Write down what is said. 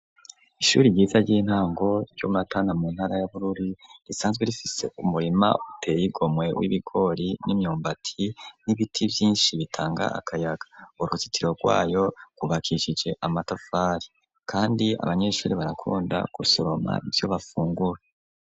ishuri ryiza ry'intango ry'umatana mu ntara y'abururi risanzwe rifise umurima uteye igomwe w'ibigori n'imyumbati n'ibiti byinshi bitanga akayaga uruzitiro rwayo kubakicije amatafari kandi abanyeshuri barakunda ku soroma ibyo bafungura.